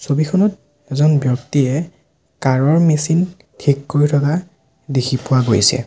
ছবিখনত এজন ব্যক্তিয়ে কাৰ ৰ মচিন ঠিক কৰি থকা দেখি পোৱা গৈছে।